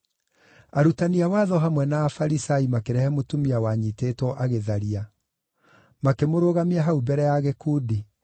Arutani a watho hamwe na Afarisai makĩrehe mũtumia wanyiitĩtwo agĩtharia. Makĩmũrũgamia hau mbere ya gĩkundi,